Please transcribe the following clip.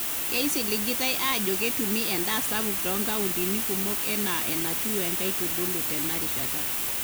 Keisiligitai aajo ketumi endaa sapuk too nkauntini kumok enaa enatiu nkaitubulu tena rishata.